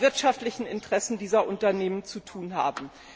wirtschaftlichen Interessen dieser Unternehmen zu tun haben.